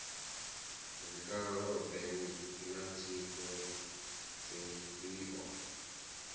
zwikalo ḓe na tsiko dzifhio